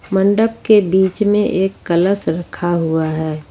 मंडप के बीच में एक कलश रखा हुआ है।